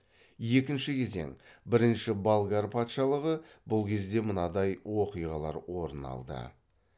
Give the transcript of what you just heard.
екінші кезең бірінші болгар патшалығы бұл кезде мынадай оқиғалар орын алды